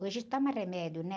Hoje toma remédio, né?